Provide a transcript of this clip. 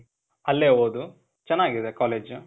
ಅಲ್ಲೇ ಓದು. ಚನಾಗ್ ಇದೆ ಕಾಲೇಜ್ .